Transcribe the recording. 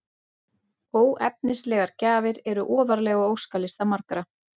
Óefnislegar gjafir eru ofarlega á óskalista margra.